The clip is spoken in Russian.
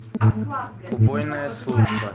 убойная служба